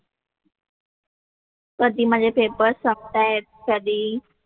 कधी माझे पेपर्स संपतायत, कधी,